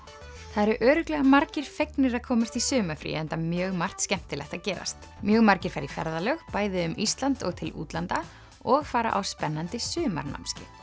það eru örugglega margir fegnir að komast í sumarfrí enda mjög margt skemmtilegt að gerast mjög margir fara í ferðalög bæði um Ísland og til útlanda og fara á spennandi sumarnámskeið